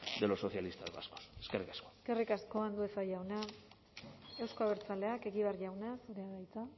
de los socialistas vascos eskerrik asko eskerrik asko andueza jauna euzko abertzaleak egibar jauna zurea da hitza